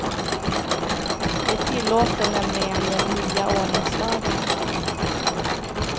Det tillåter nämligen den nya ordningslagen.